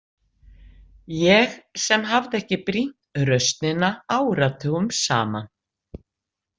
Ég sem hafði ekki brýnt raustina áratugum saman.